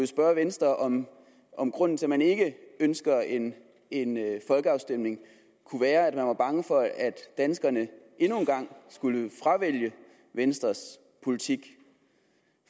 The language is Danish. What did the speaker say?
spørge venstre om om grunden til at man ikke ønsker en en folkeafstemning kunne være at venstre var bange for at danskerne endnu en gang skulle fravælge venstres politik